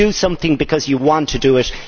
You do something because you want to do it.